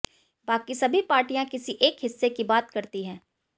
बाकी सभी पार्टियां किसी एक हिस्से की बात करती है